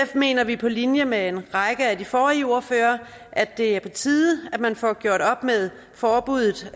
mener vi på linje med en række af de forrige ordførere at det er på tide at man får gjort op med forbuddet